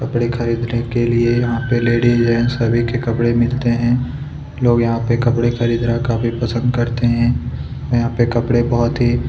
कपड़े खरीदने के लिए यहाँ पर लेडिस जेंट्स सभी के कपड़े मिलते हैं लोग यहाँ पर कपड़े खरीदना काफी पसंद करते हैं यहाँ पर कपड़े बहुत ही--